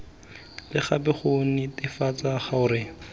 le gape go netefatsa gore